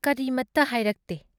ꯀꯔꯤꯃꯠꯇ ꯍꯥꯏꯔꯛꯇꯦ ꯫